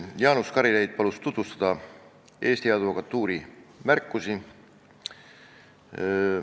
Jaanus Karilaid palus tutvustada Eesti Advokatuuri märkusi.